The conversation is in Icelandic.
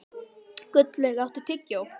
Gullveig, áttu tyggjó?